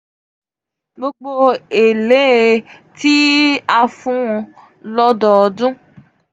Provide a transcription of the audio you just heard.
gbogbo ele um ti a fun won lododun.